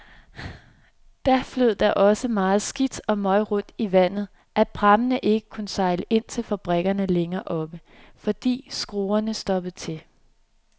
Da flød der så meget skidt og møg rundt i vandet, at prammene ikke kunne sejle ind til fabrikkerne længere oppe, fordi skruerne stoppede til.